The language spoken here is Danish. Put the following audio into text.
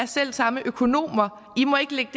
selv samme økonomer i må ikke lægge